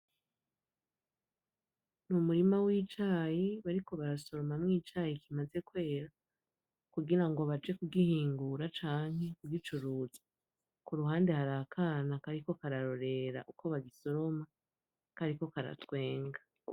Umurima wicayi bariko barasoromwamo icayi kimaze kwera kugira ngo baje kugihungura canke kugicuruza, kuruhande harakana kariko kararorera uko babisoroma kariko karatwenga.